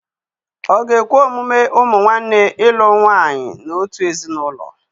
Ọ̀ ga-ekwe omume ụmụ nwanne ịlụ nwanyị n'otu ezinụlọ?